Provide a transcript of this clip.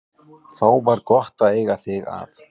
Þá var gott að eiga þig að.